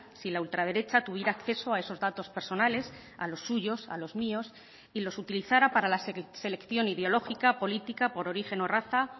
si la ultraderecha tuviera acceso a esos datos personales a los suyos a los míos y los utilizara para la selección ideológica política por origen o raza